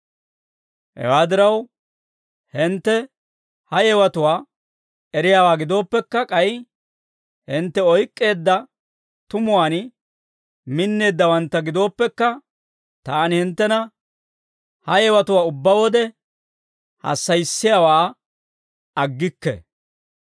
Hewaa diraw, hintte ha yewatuwaa eriyaawaa gidooppekka, k'ay hintte oyk'k'eedda tumuwaan minneeddawantta gidooppekka, taani hinttena ha yewatuwaa ubbaa wode hassayissiyaawaa aggikke.